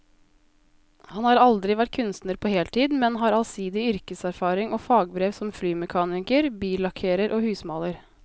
Han har aldri vært kunstner på heltid, men har allsidig yrkeserfaring og fagbrev som flymekaniker, billakkerer og husmaler.